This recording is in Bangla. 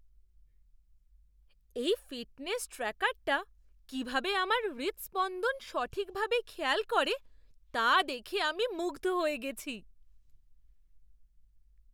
এই ফিটনেস ট্র্যাকারটা কীভাবে আমার হৃদস্পন্দন সঠিকভাবে খেয়াল করে তা দেখে আমি মুগ্ধ হয়ে গেছি।